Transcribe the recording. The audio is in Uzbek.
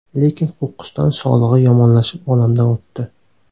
Lekin qo‘qqisdan sog‘lig‘i yomonlashib, olamdan o‘tdi.